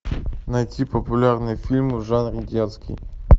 найти популярные фильмы в жанре детский